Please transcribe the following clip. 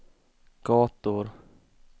gator